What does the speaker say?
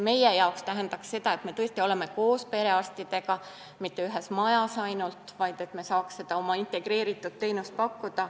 Meie jaoks tähendaks see seda, et me mitte ainult ei ole koos perearstidega ühes majas, vaid saaksime pakkuda ka oma integreeritud teenust.